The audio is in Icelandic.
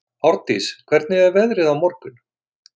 Árndís, hvernig er veðrið á morgun?